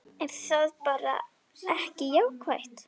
Er það bara ekki jákvætt?